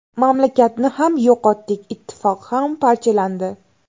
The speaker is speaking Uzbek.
Mamlakatni ham yo‘qotdik, ittifoq ham parchalandi.